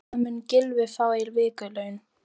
Hvað mun Gylfi fá í vikulaun?